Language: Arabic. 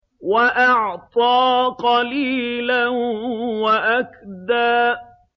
وَأَعْطَىٰ قَلِيلًا وَأَكْدَىٰ